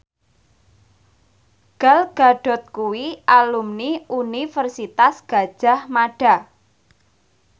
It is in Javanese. Gal Gadot kuwi alumni Universitas Gadjah Mada